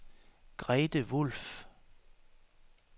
Grete Wulff